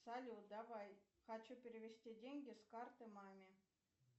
салют давай хочу перевести деньги с карты маме